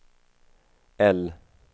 L